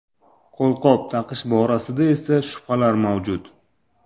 Qo‘lqop taqish borasida esa shubhalar mavjud.